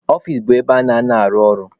Ọfici bụ ebe a na-anọ arụ ọrụ.